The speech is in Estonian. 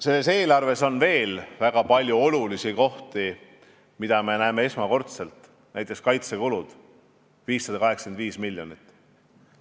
Selles eelarves on veel väga palju olulisi kohti, mida me näeme esmakordselt, näiteks kaitsekulutusteks on ette nähtud 585 miljonit.